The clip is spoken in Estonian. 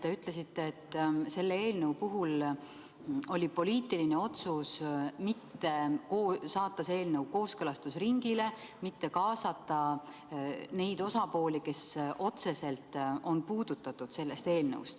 Te ütlesite, et selle eelnõu puhul oli poliitiline otsus mitte saata seda eelnõu kooskõlastusringile, mitte kaasata neid osapooli, keda see eelnõu otseselt puudutab.